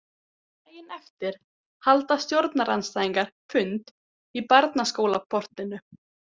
Daginn eftir halda stjórnarandstæðingar fund í barnaskólaportinu.